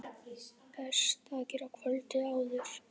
Best að gera kvöldið áður.